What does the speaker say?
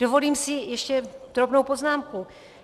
Dovolím si ještě drobnou poznámku.